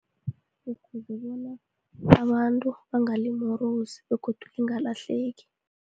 Bungozi bona abantu bangalimorosi begodu lingalahleki.